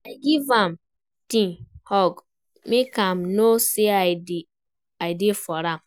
I give am tight hug, make im know say I dey for am.